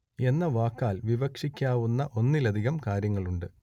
എന്ന വാക്കാൽ വിവക്ഷിക്കാവുന്ന ഒന്നിലധികം കാര്യങ്ങളുണ്ട്